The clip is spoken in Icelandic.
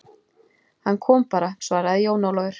Hann kom bara, svaraði Jón Ólafur.